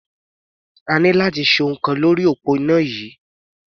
A ní láti ṣe ohun kan lórí òpó iná yìí.